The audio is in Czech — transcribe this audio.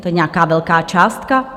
To je nějaká velká částka?